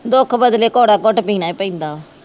ਦੁੱਖ ਬਦਲੇ ਕੌੜਾ ਘੁੱਟ ਪੀਣਾ ਈ ਪੈਂਦਾ ਵਾ।